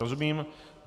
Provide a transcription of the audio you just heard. Rozumím.